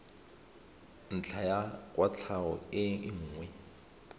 ntlha ya kwatlhao e nngwe